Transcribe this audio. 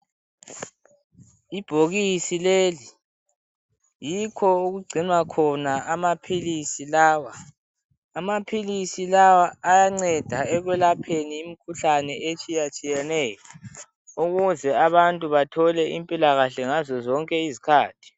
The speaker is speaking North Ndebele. Ibhokisi leli yikho okugcinwa khona amaphilisi lawa, amaphilisi lawa ayanceda ekwelapheni imikhuhlane etshiye tshiyeneyo ukuze abantu bathole impilakahle ngazo zonke izikhathi.